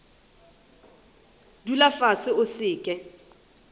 dula fase o se ke